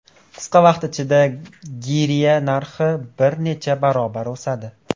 Qisqa vaqt ichida girya narxi bir necha barobar o‘sadi.